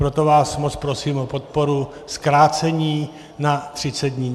Proto vás moc prosím o podporu zkrácení na 30 dní.